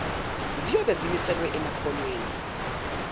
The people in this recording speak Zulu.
ziyobe zimiselwe emakhonweni